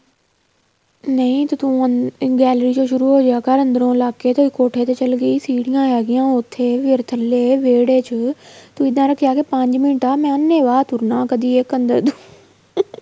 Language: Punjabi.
ਨਹੀਂ ਤੂੰ gallery ਚੋ ਸ਼ੁਰੂ ਹੋ ਜਿਆ ਕਰ ਅੰਦਰ ਲੱਗ ਕੇ ਕੋਠੇ ਤੇ ਚੱਲੀ ਗਈ ਸੀਡੀਆਂ ਹੈਗੀਆਂ ਉੱਥੇ ਫ਼ਿਰ ਥੱਲੇ ਵੇਹੜੇ ਚ ਤੂੰ ਇੱਦਾਂ ਰੱਖਿਆ ਕਰ ਪੰਜ ਮਿੰਟ ਆ ਮੈਂ ਅੰਨੇ ਵਾਹ ਤੁਰਨਾ ਕਦੀਂ ਇੱਕ ਅੰਦਰ